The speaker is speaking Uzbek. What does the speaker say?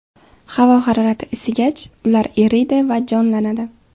Havo harorati isigach, ular eriydi va jonlanadi.